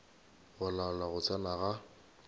go laola go tsena ga